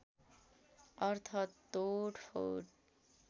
अर्थ तोडफोड